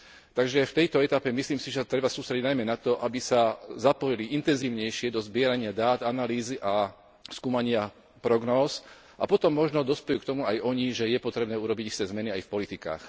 Takže v tejto etape, myslím si, že sa treba sústrediť najmä na to, aby sa zapojili intenzívnejšie do zbierania dát, analýz a skúmania prognóz a potom možno dospejú k tomu aj oni, že je potrebné urobiť isté zmeny aj v politikách.